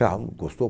Ah, não gostou?